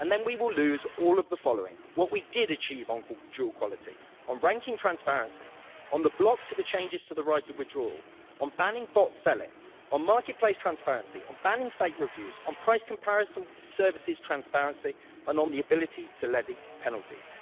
And then we will lose all of the following what we did achieve on dual quality, on ranking transparency, on the block to the changes to the right of withdrawal, on banning bot selling, on marketplace transparency, on banning fake reviews, on price comparison services, transparency, and on the ability to levy penalties.